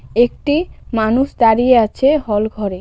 একটি মানুষ দাঁড়িয়ে আছে হল ঘরে.